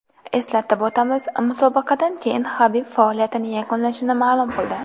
Eslatib o‘tamiz, musobaqadan keyin Habib faoliyatini yakunlashini ma’lum qildi .